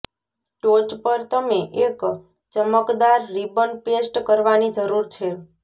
ટોચ પર તમે એક ચમકદાર રિબન પેસ્ટ કરવાની જરૂર છે